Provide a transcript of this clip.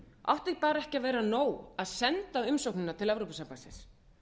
átti bara ekki að vera nóg að senda umsóknina til evrópusambandsins